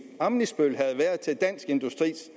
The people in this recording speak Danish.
ammitzbøll havde været til dansk industris